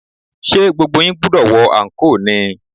Ṣé gbogbo yín gbúdọ̀ wọ anko ni?